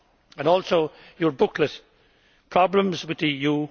And also, your booklet Problems with the EU?